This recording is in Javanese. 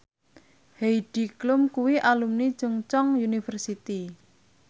Heidi Klum kuwi alumni Chungceong University